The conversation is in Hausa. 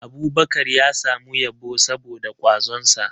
Abubakar ya samu yabo saboda kwazonsa